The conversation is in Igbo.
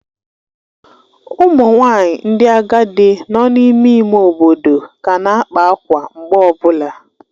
Ụmụ nwanyị ndị agadi nọ n'ime ime obodo ka na-akpa akwa mgbe ọ bụla.